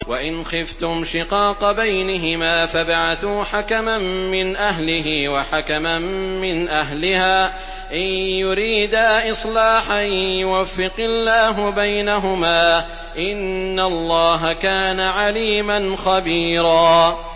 وَإِنْ خِفْتُمْ شِقَاقَ بَيْنِهِمَا فَابْعَثُوا حَكَمًا مِّنْ أَهْلِهِ وَحَكَمًا مِّنْ أَهْلِهَا إِن يُرِيدَا إِصْلَاحًا يُوَفِّقِ اللَّهُ بَيْنَهُمَا ۗ إِنَّ اللَّهَ كَانَ عَلِيمًا خَبِيرًا